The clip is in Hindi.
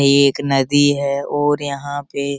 ये एक नदी है और यहाँ पे --